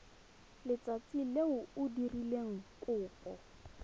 letsatsi le o dirileng kopo